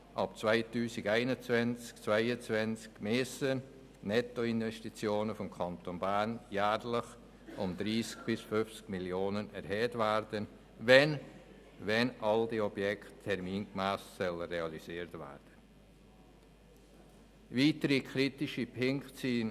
Ab 2021/22 müssen die Nettoinvestitionen des Kantons Bern um jährlich 30 bis 50 Mio. Franken erhöht werden, wenn alle diese Objekte termingemäss realisiert werden sollen.